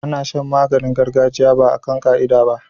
Ana Shan maganin gargajiya ba akan ka'ida ba